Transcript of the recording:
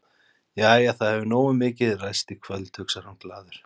Jæja, það hefur nógu mikið ræst í kvöld, hugsar hann glaður.